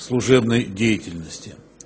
служебной деятельности